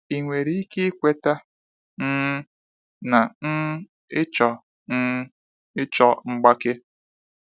Ịnwere ike ikweta um na um ịchọ um ịchọ mgbake.